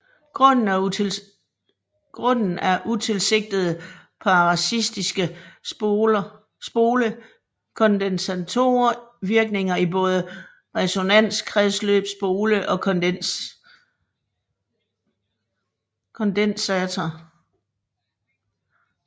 Grunden er utilsigtede parasitiske spole og kondensator virkninger i både resonanskredsløb spole og kondensator